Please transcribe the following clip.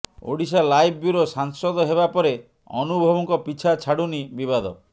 Odisha live bureau ସାଂସଦ ହେବା ପରେ ଅନୁଭବଙ୍କ ପିଛା ଛାଡୁନି ବିବାଦ